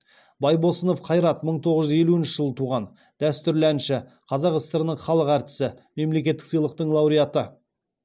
байбосынов қайрат мың тоғыз жүз елуінші жылы туған дәстүрлі әнші қазақ сср інің халық әртісі мемлекеттік сыйлықтың лауреаты